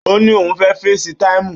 Ó ní òun fẹ́ fesi táìmù